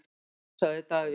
Síðar sagði Davíð: